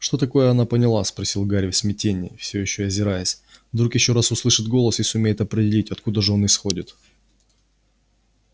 что такое она поняла спросил гарри в смятении все ещё озираясь вдруг ещё раз услышит голос и сумеет определить откуда же он исходит